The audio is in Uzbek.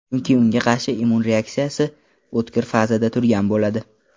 Chunki unga qarshi immun reaksiyasi o‘tkir fazada turgan bo‘ladi.